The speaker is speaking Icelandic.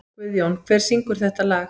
Guðjón, hver syngur þetta lag?